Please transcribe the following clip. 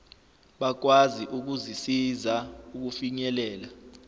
bakwazi ukuzisiza ukufinyelela